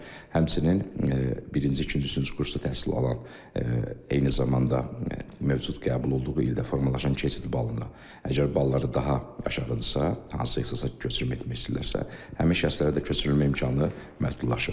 Həmçinin birinci, ikinci, üçüncü kursda təhsil alan, eyni zamanda mövcud qəbul olduğu ildə formalaşan keçid balından, əgər balları daha aşağıdırsa, hansısa ixtisasa köçürmə etmək istəyirlərsə, həmin şəxslərə də köçürülmə imkanı məhdudlaşır.